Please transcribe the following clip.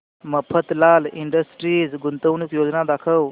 Mafatlal industries गुंतवणूक योजना दाखव